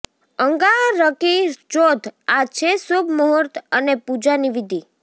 અંગારકી ચોથઃ આ છે શુભ મુહૂર્ત અને પૂજાની વિધિ